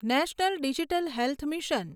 national Digital Health mission